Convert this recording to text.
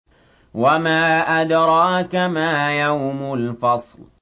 وَمَا أَدْرَاكَ مَا يَوْمُ الْفَصْلِ